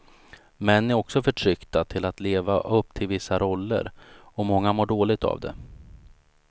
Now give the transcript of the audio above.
Män är också förtryckta till att leva upp till vissa roller, och många mår dåligt av det.